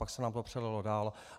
Pak se nám to přelilo dál.